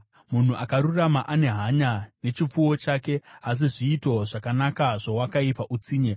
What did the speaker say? Munhu akarurama ane hanya nechipfuwo chake, asi zviito zvakanaka zvowakaipa utsinye.